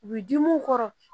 U bi di mun kɔrɔ